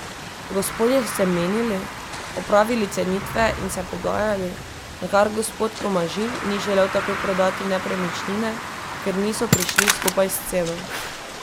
Gospodje so se menili, opravili cenitve in se pogajali, nakar gospod Tomažin ni želel takoj prodati nepremičnine, ker niso prišli skupaj s ceno.